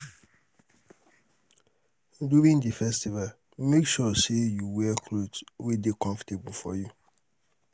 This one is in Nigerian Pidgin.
during the festival make sure say you wear cloth wey de comfortable for you